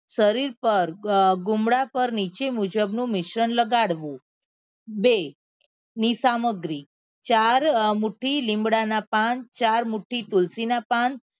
શરીર પર ગુમડા પર નીચે મુજબ નું મિશ્રણ લગાવવું બે ની સામગ્રી ચાર અ મુઠી લીમડા ના પાન ચાર મુઠી તુલસી ના પાન